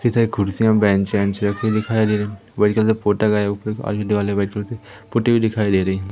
इधर कुर्सियां बेंच वेंच रखे दिखाई दे रहे पोती हुई दिखाई दे रहे--